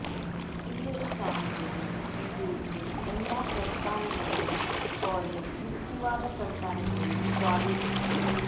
ഈയൊരു സാഹചര്യം ഇന്ത്യയിലെ എല്ലാ പ്രസ്ഥാനങ്ങളെയും പോലെ യുക്തിവാദ പ്രസ്ഥാനങ്ങളെയും സ്വാധീനിച്ചിരുന്നു